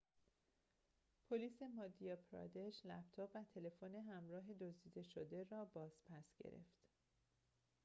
پلیس مادیا پرادش لپتاب و تلفن همراه دزده شده را باز پس گرفت